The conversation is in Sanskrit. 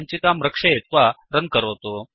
सञ्चिकां रक्षयित्वा रन् करोतु